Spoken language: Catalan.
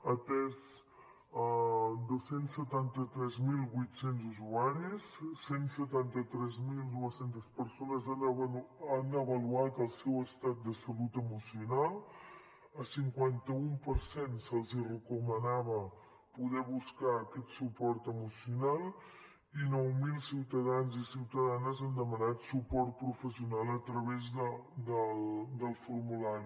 ha atès dos cents i setanta tres mil vuit cents usuaris cent i setanta tres mil dos cents persones han avaluat el seu estat de salut emocional al cinquanta un per cent se’ls recomanava poder buscar aquest suport emocional i nou mil ciutadans i ciutadanes han demanat suport professional a través del formulari